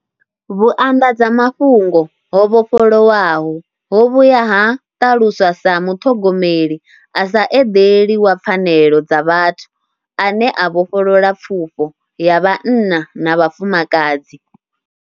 Vhuanḓadzamafhungo ho vhofholowaho ho vhuya ha ṱaluswa sa muṱhogomeli a sa eḓeli wa pfanelo dza vhathu ane a vhofholola pfufho ya vhanna na vhafumakadzi.